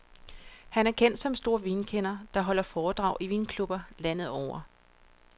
Han er kendt som en stor vinkender, der holder foredrag i vinklubber landet over.